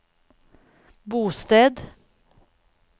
bosted